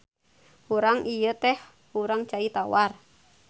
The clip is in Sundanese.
Hurang ieu teh hurang cai tawar.